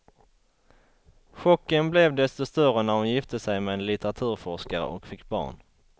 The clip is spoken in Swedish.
Chocken blev desto större när hon gifte sig med en litteraturforskare och fick barn.